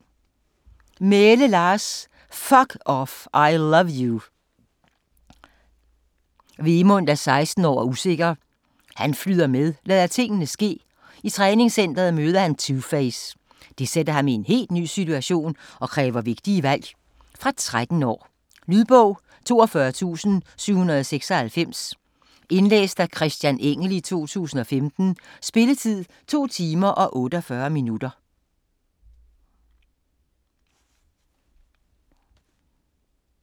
Mæhle, Lars: Fuck off - I love you Vemund er 16 år og usikker. Han flyder med, lader tingene ske. I træningscentret møder han Two Face. Det sætter ham i en helt ny situation, og kræver vigtige valg. Fra 13 år. Lydbog 42796 Indlæst af Christian Engell, 2015. Spilletid: 2 timer, 48 minutter.